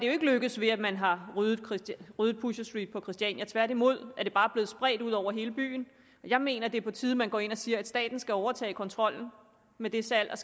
er lykkedes ved at man har ryddet ryddet pusher street på christiania tværtimod er det bare blevet spredt ud over hele byen jeg mener det er på tide at man går ind og siger at staten skal overtage kontrollen med det salg